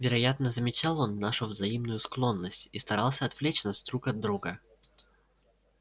вероятно замечал он нашу взаимную склонность и старался отвлечь нас друг от друга